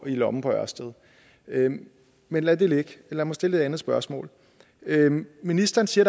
lommen på ørsted men men lad det ligge og lad mig stille et andet spørgsmål ministeren siger